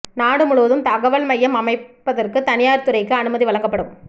நாடு முழுவதும் தகவல் மையம் அமைப்பதற்கு தனியார் துறைக்கு அனுமதி வழங்கப்படும்